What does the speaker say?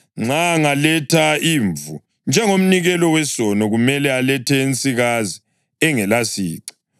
Nxa angaletha imvu njengomnikelo wesono, kumele alethe ensikazi engelasici.